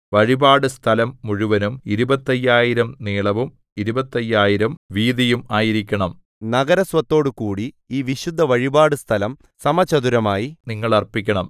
വഴിപാടുസ്ഥലം മുഴുവനും ഇരുപത്തയ്യായിരം നീളവും ഇരുപത്തയ്യായിരം വീതിയും ആയിരിക്കണം നഗരസ്വത്തോടുകൂടി ഈ വിശുദ്ധവഴിപാടുസ്ഥലം സമചതുരമായി നിങ്ങൾ അർപ്പിക്കണം